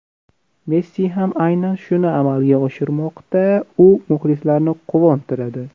Messi ham aynan shuni amalga oshirmoqda, u muxlislarni quvontiradi.